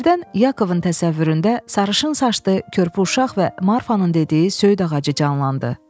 Birdən Yakovun təsəvvüründə sarışın saçlı körpə uşaq və Marfanın dediyi söyüd ağacı canlandı.